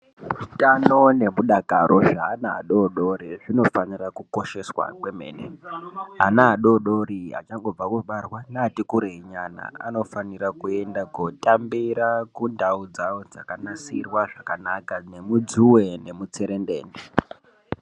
Utano nemudakaro zvevana vadodori hunofanira kukosheswa kwemene vana adodori achangobva kubarwa neati kureyi nyana anofanirwa kuenda kunotambira kundau dzavo dzakanasirwa zvakanaka nemudzuwe nemutserendende.